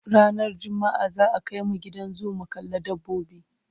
ranar jumma'a za'a Kai mu Gidan zoo mu kalla dabbobi